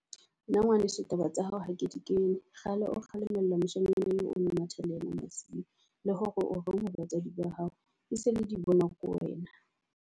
Nna ngwaneso taba tsa hao ha ke di kene kgale o kgalemela moshanyana eo, o no matha le ena masiu. Le hore o reng ha batswadi ba hao e se le di bonwa ke wena.